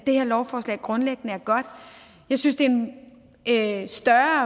det her lovforslag grundlæggende er godt jeg synes det er en større